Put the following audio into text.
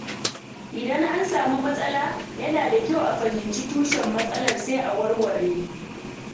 Idan an samu matsala, yana da kyau a fahimci tushen matsalar sai a warware